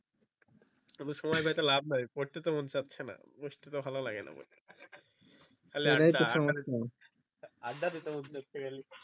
সময় পেয়ে তো লাভ নাই পড়তে তো মন চাচ্ছে না বসতে তো ভালো লাগে না পড়তে খালি সেটাই তো সমস্যা আড্ডা আড্ডা দিতে মন চাচ্ছে খালি